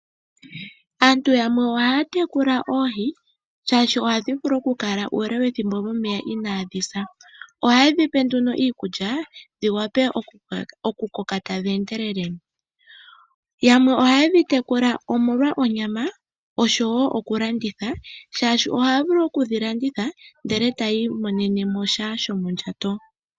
Aantu yakwe ohaya tekula oohi shaashi ohadhi vulu oku kala momeya uule wethimbo inaadhi sa. Ohaye dhi pe nduno iikulya dhi wape oku koka tadhi endelele. Yamwe ohaye dhi tekula omolwa onyama oshowo oku landitha, shaashi ohaya vulu okudhi landitha ndele etaya imonene mo sha shomondjato.